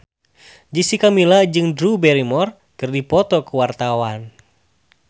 Jessica Milla jeung Drew Barrymore keur dipoto ku wartawan